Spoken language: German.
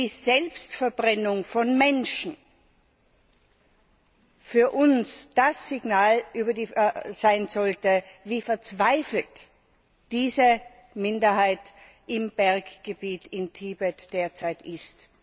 die Selbstverbrennung von Menschen für uns ein Anzeichen dafür sein sollte, wie verzweifelt diese Minderheit im Berggebiet in Tibet derzeit ist.